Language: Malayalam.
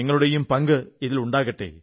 നിങ്ങളുടെയും പങ്ക് ഇതിലുണ്ടാകട്ടെ